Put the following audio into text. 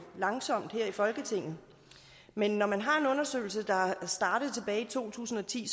langsomt her i folketinget men når man har en undersøgelse der startede tilbage i to tusind og ti